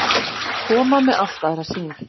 Koma með allt aðra sýn